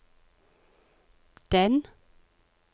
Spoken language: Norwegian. den